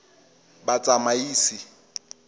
batsamaisi